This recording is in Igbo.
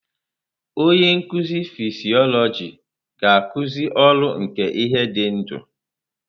Onye nkuzi fịsiolojị ga-akuzi ọrụ nke ihe dị ndụ.